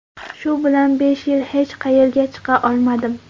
Shu bilan besh yil hech qayerga chiqa olmadim.